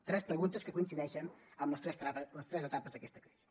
tres preguntes que coincideixen amb les tres etapes d’aquesta crisi